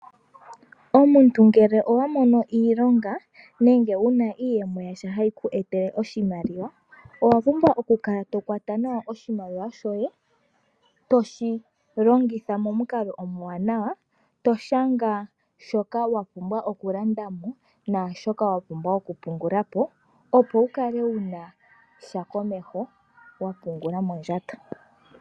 Omuntu ngele owamono iilonga nenge wuna iiyemo yasha hayi ku etele oshimaliwa owapumbwa okukala tokwata nawa oshimaliwa shoye toshilongitha momukalo omuwanawa toshanga shoka wapumbwa okulandamo naashoka wapumbwa oku pungulapo opo wukale wunasha komeho wapungula mondjato.